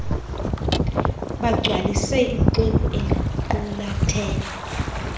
bagcwalise ixhwebhu eliqulathe